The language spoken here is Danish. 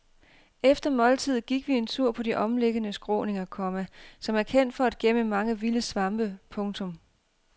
Efter måltidet gik vi en tur på de omliggende skråninger, komma som er kendte for at gemme mange vilde svampe. punktum